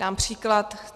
Dám příklad.